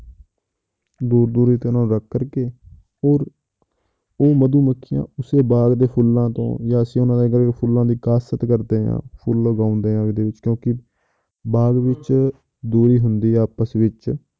ਦੂਰ ਦੂਰ ਇੱਕ ਇਹਨਾਂ ਨੂੰ ਰੱਖ ਕਰਕੇ ਔਰ ਉਹ ਮਧੂਮੱਖੀਆਂ ਉਸ ਦੇ ਬਾਗ਼ ਦੇ ਫੁੱਲਾਂ ਤੋਂ ਜਾਂ ਅਸੀਂ ਫੁੱਲਾਂ ਦੀ ਕਾਸ਼ਤ ਕਰਦੇ ਹਾਂ ਫੁੱਲਾਂ ਉਗਾਉਂਦੇ ਹਾਂ ਉਹਦੇ ਵਿੱਚ ਕਿਉਂਕਿ ਬਾਗ਼ ਵਿੱਚ ਦੂਰੀ ਹੁੰਦੀ ਆ ਆਪਸ ਵਿੱਚ